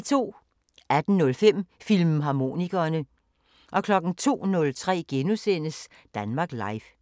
18:05: Filmharmonikerne 02:03: Danmark Live *